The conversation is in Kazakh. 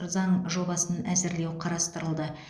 заң жобасын әзірлеу қарастырылды